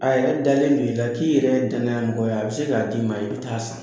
A yɛrɛ dalen don i la k'i yɛrɛ danayamɔgɔ ye a bɛ se k'a d'i ma i bɛ ta'a san